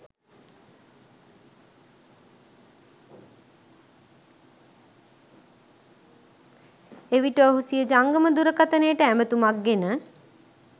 එවිට ඔහු සිය ජංගම දුරකථනයට ඇතුමක් ගෙන